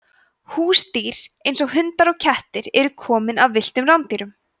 húsdýr eins og hundar og kettir eru komin af villtum rándýrum